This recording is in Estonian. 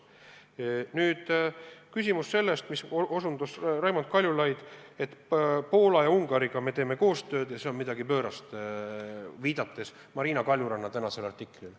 Nüüd küsimus sellest, millele viitas Raimond Kaljulaid, et me teeme Poola ja Ungariga koostööd ja et see on midagi pöörast, viidates Marina Kaljuranna tänasele artiklile.